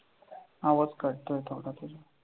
आवाज कटतोय थोडासा.